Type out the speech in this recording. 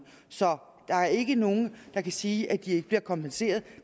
så der er ikke nogen der kan sige at de ikke bliver kompenseret